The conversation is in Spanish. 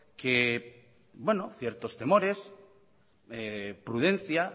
que bueno ciertos temores prudencia